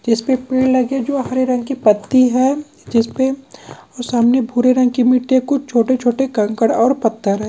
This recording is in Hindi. इसपे पेड़ लगे जो हरे रंग के पत्ती है जिसपे सामने भूरे रंग के मिट्टी कुछ छोटे-छोटे कंकड़ और पत्थर हैं।